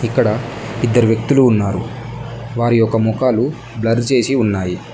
ఇక్కడ ఇద్దరు వ్యక్తులు ఉన్నారు. వారి యొక్క మొకాలు బ్లర్ చేసి ఉన్నాయి.